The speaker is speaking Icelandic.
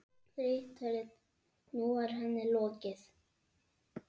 Nú er henni lokið.